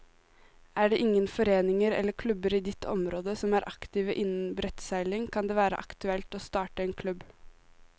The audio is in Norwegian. Er det ingen foreninger eller klubber i ditt område som er aktive innen brettseiling, kan det være aktuelt å starte en klubb.